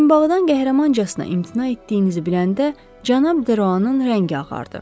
Boyunbağıdan qəhrəmancasına imtina etdiyinizi biləndə Cənab Deroanın rəngi ağardı.